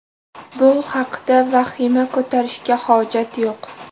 Bu haqda vahima ko‘tarishga hojat yo‘q.